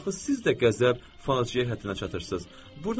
Axı siz də qəzəb faciə həddinə çatırsız.